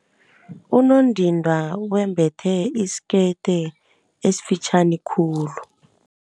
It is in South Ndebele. Unondindwa wembethe isikete esifitjhani khulu.